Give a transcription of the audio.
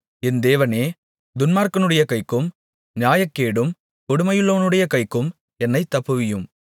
என் தேவனே துன்மார்க்கனுடைய கைக்கும் நியாயக்கேடும் கொடுமையுமுள்ளவனுடைய கைக்கும் என்னைத் தப்புவியும்